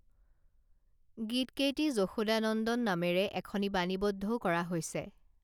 গীত কেইটি যশোদানন্দন নামেৰে এখনি বাণীবন্ধও কৰা হৈছে